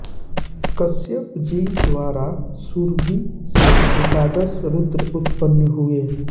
कश्यपजी द्वारा सुरभि से एकादश रुद्र उत्पन्न हुए